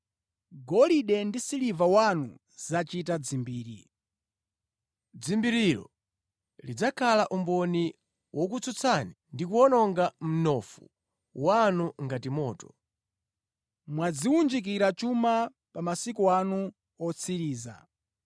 Golide ndi siliva wanu zachita dzimbiri. Dzimbirilo lidzakhala umboni wokutsutsani ndi kuwononga mnofu wanu ngati moto. Mwadziwunjikira chuma pa masiku ano otsiriza.